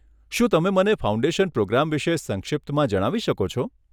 શું તમે મને ફાઉન્ડેશન પ્રોગ્રામ વિશે સંક્ષિપ્તમાં જણાવી શકો છો?